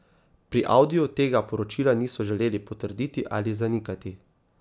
Pri Audiju tega poročila niso želeli potrditi ali zanikati.